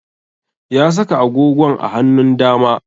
Ya saka agogon a hanun dama